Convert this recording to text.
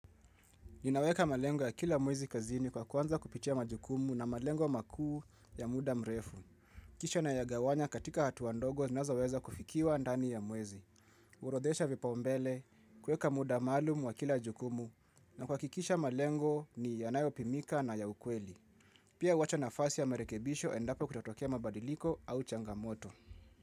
Ninaweka malengo ya kila mwezi kazini kwa kuanza kupitia majukumu na malengo makuu ya muda mrefu. Kisha nayagawanya katika hatua ndogo zinazoweza kufikiwa ndani ya mwezi. Hurodhesha vipaumbele, kuweka muda maalum wa kila jukumu na kuhakikisha malengo ni yanayopimika na ya ukweli. Pia huwacha nafasi ya marekebisho endapo kutatokea mabadiliko au changamoto.